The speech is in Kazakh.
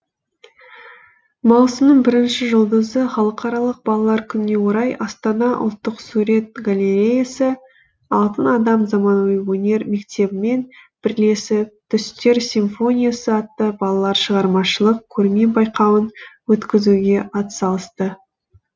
маусымның бірінші жұлдызы халықаралық балалар күніне орай астана ұлттық сурет галереясы алтын адам заманауи өнер мектебімен бірлесіп түстер симфониясы атты балалар шығармашылық көрме байқауын өткізуге атсалысты